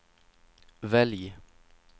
välj